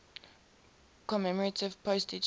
commemorative postage stamp